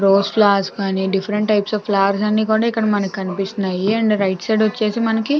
Rose flowers గాని ఇక్కడ మనకు అన్నీ దిఫ్ఫ్రేట్ గ కనిపిస్తున్నాయి. అండ్ రైట్ సైడ్ వచ్చేసి మనకి --